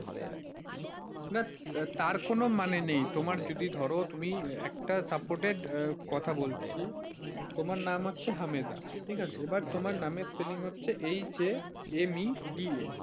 না তার কোন মানে নেই ধরো তুমি একটা supported কথা বলছি, তোমার নাম হচ্ছে হামেদা, ঠিক আছে এইবার তোমার নামের spelling হচ্ছে H A M E D A.